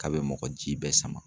K'a bɛ mɔgɔ ji bɛɛ sama.